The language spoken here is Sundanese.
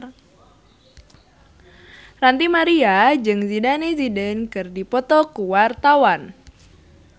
Ranty Maria jeung Zidane Zidane keur dipoto ku wartawan